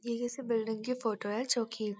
यह किसी बिल्डिंग की फोटो है जो कि --